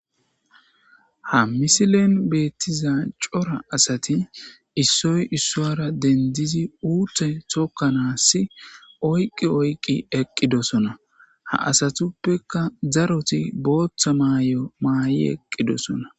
Ha misilen beettiza cora asati issoy issoara dendizi uutte tokkanaassi oyqqi oyqi eqqidosona. Ha asatuppeka daroti booththa maay7o maay7i eqqidosona.